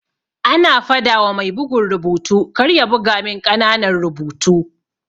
Ana fadawa mai bugun rubutu karya buga min ƙananan rubutu.